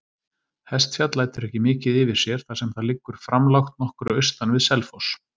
Hestfjall lætur ekki mikið yfir sér, þar sem það liggur framlágt nokkru austan við Selfoss.